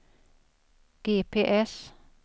GPS